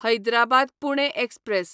Hyderabad Pune express